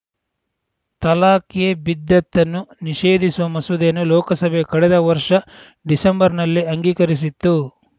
ತಲಾಖ್‌ ಎ ಬಿದ್ದತ್‌ ಅನ್ನು ನಿಷೇಧಿಸುವ ಮಸೂದೆಯನ್ನು ಲೋಕಸಭೆಯ ಕಳೆದ ವರ್ಷ ಡಿಸೆಂಬರ್‌ನಲ್ಲೇ ಅಂಗೀಕರಿಸಿತ್ತು